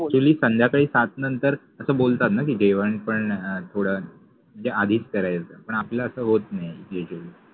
Actually संध्याकाळि सात नंतर अस बोलतात न कि जेवन पन थोड म्हंजे आधिच करायच पन आपल अस होत नाहि.